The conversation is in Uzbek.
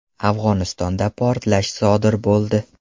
Afg‘onistonda portlash sodir bo‘ldi.